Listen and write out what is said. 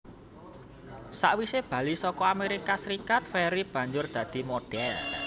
Sawise bali saka Amerika Serikat Ferry banjur dadi modhél